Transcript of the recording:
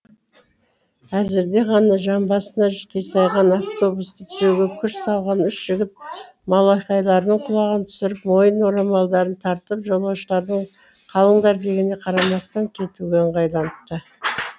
әзірде ғана жамбасына қисайған автобусты түзеуге күш салған үш жігіт малақайларының құлағын түсіріп мойын орамалдарын тартып жолаушылардың қалыңдар дегеніне қарамастан кетуге ыңғайланыпты